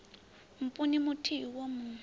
mpun u muthihi wo mu